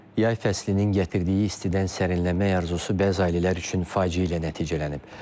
Yay fəslinin gətirdiyi istidən sərinləməy arzusu bəzi ailələr üçün faciə ilə nəticələnib.